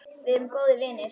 Við erum góðir vinir.